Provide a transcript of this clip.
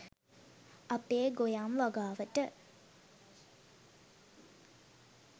අපේ ගොයම් වගාවට